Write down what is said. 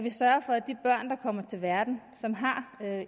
kommer til verden som har